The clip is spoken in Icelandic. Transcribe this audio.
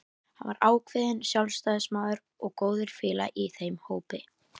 Hann var ákveðinn sjálfstæðismaður og góður félagi í þeim hópi.